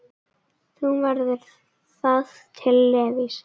Þá verður það til Levís.